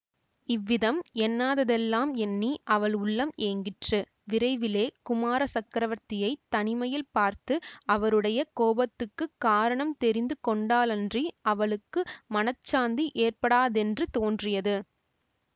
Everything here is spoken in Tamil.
இவ்விதம் எண்ணாததெல்லாம் எண்ணி அவள் உள்ளம் ஏங்கிற்று விரைவிலே குமார சக்கரவர்த்தியைத் தனிமையில் பார்த்து அவருடைய கோபத்துக்குக் காரணம் தெரிந்து கொண்டாலன்றி அவளுக்கு மனச்சாந்தி ஏற்படாதென்று தோன்றியது